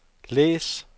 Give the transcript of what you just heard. læs